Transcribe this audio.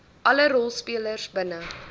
alle rolspelers binne